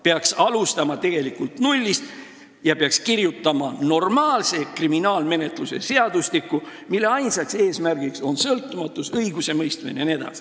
Peaks alustama nullist ja peaks kirjutama normaalse kriminaalmenetluse seadustiku, mille ainus eesmärk on sõltumatu õigusemõistmine.